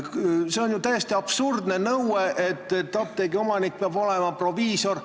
See on ju täiesti absurdne nõue, et apteegi omanik peab olema proviisor.